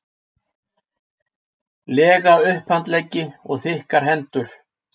lega upphandleggi og þykkar hendur.